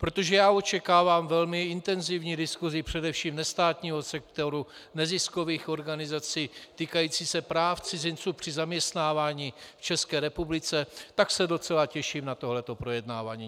Protože já očekávám velmi intenzivní diskusi především nestátního sektoru, neziskových organizací, týkající se práv cizinců při zaměstnávání v České republice, tak se docela těším na toto projednávání.